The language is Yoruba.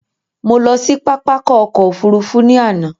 Mo lọ sí pápákọ̀ ọkọ̀ òfurufú ní àná